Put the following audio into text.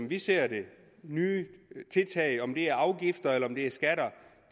vi ser det nye tiltag om det betyder afgifter eller om det betyder skatter